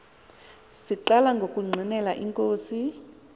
siqala ukungqinela inkosi